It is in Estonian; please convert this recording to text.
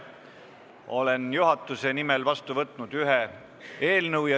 Olen juhatuse nimel vastu võtnud ühe eelnõu.